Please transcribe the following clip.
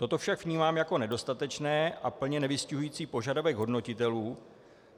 Toto však vnímám jako nedostatečné a plně nevystihující požadavek hodnotitelů.